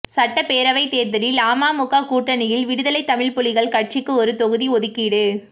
சட்டப்பேரவை தேர்தலில் அமமுக கூட்டணியில் விடுதலை தமிழ்ப்புலிகள் கட்சிக்கு ஒரு தொகுதி ஒதுக்கீடு